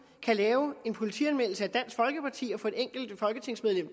kan lave en politianmeldelse af dansk folkeparti og få et enkelt folketingsmedlem